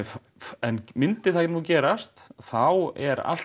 en myndi það nú gerast þá er allt